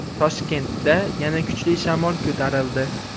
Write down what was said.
Toshkentda yana kuchli shamol ko‘tarildi.